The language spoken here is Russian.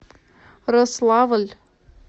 рославль